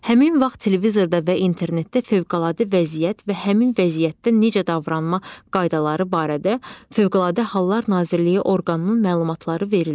Həmin vaxt televizorda və internetdə fövqəladə vəziyyət və həmin vəziyyətdə necə davranma qaydaları barədə Fövqəladə Hallar Nazirliyi orqanının məlumatları verilir.